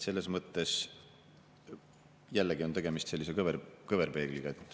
Selles mõttes on jällegi tegemist sellise kõverpeegliga.